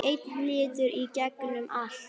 Einn litur í gegnum allt.